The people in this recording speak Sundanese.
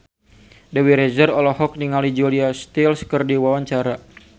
Dewi Rezer olohok ningali Julia Stiles keur diwawancara